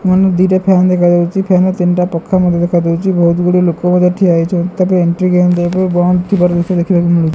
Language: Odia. ମନୁ ଦିଇଟା ଫ୍ୟାନ ଦେଖା ଯାଉଚି ଫ୍ୟାନ ର ତିନିଟା ପଂଖା ମଧ୍ୟ ଦେଖାଯାଉଚି ବହୁତ୍ ଗୁଡ଼ିଏ ଲୋକ ମଧ୍ୟ ଠିଆ ହେଇଚ ତାପରେ ଏଣ୍ଟ୍ରି ଗେମ୍ ବନ୍ଦ ଥିବାର ଦୃଶ୍ୟ ଦେଖିବାକୁ ମିଳୁଚି।